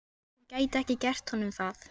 Hún gæti ekki gert honum það.